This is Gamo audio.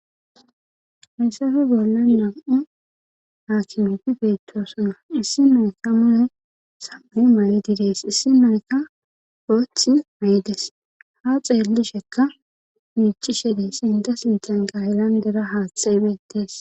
heysafe bolla nam7u haakimeti peetosona issi mayka muye sabe mayi didees issi mayka goothi meedes ha xeellishekka miichi shede sinda sintan gayelandera haatxeebetes